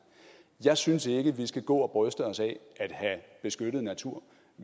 jeg synes ikke vi skal gå og bryste os af at have beskyttet natur